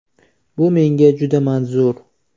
Bu menga juda manzur.